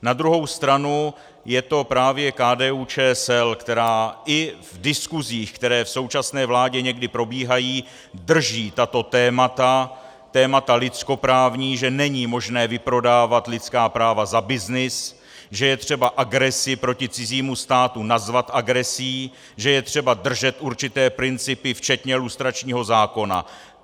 Na druhou stranu je to právě KDU-ČSL, která i v diskusích, které v současné vládě někdy probíhají, drží tato témata, témata lidskoprávní, že není možné vyprodávat lidská práva za byznys, že je třeba agresi proti cizímu státu nazvat agresí, že je třeba držet určité principy včetně lustračního zákona.